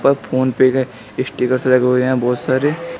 Phone पे के stickers लगे हुए हैं बहोत सारे।